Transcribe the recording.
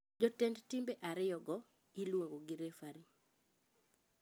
Jotend timbe ariyo go ,iluongo gi refari.